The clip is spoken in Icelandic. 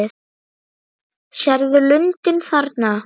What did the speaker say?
Sérðu lundinn þarna?